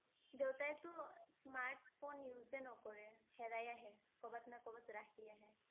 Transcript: দেউতাইটো smartphone এ নকৰে হেৰাই আহে কৰ'বাত না কৰ'বাত ৰাখি আহে ।